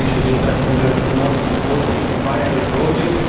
I think they should invest in the economically most viable projects.